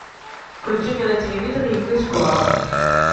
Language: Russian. включи мне на телевизоре инглиш клаб